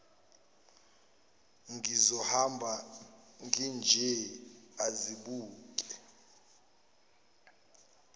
ngizohamba nginje azibuke